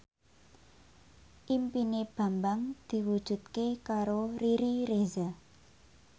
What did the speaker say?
impine Bambang diwujudke karo Riri Reza